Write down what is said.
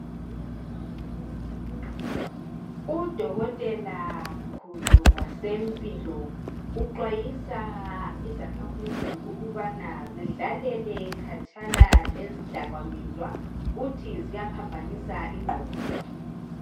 Udokotela mkhulu wasempilo uxhwayisa izakhamizi ukubana zidlalele khatshana lezidakamizwa uthi ziyaphambanisa ingqondo